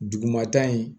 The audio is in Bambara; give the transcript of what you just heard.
Dugumata in